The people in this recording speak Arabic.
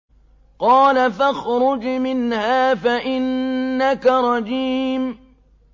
قَالَ فَاخْرُجْ مِنْهَا فَإِنَّكَ رَجِيمٌ